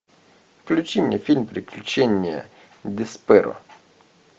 включи мне фильм приключение десперо